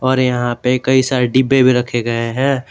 और यहां पे कई सारे डिब्बे भी रखे गए हैं।